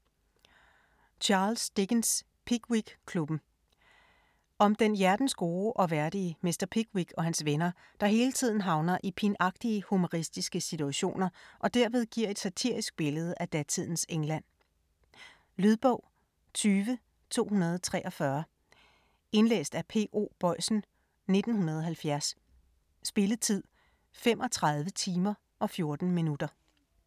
Dickens, Charles: Pickwickklubben Om den hjertensgode og værdige mr. Pickwick og hans venner, der hele tiden havner i pinagtige humoristiske situationer og derved giver et satirisk billede af datidens England. Lydbog 20243 Indlæst af P.O. Boisen, 1970. Spilletid: 35 timer, 14 minutter.